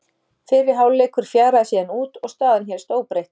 Fyrri hálfleikur fjaraði síðan út og staðan hélst óbreytt.